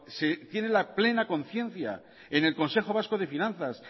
se tiene la plena conciencia en el consejo vasco de finanzas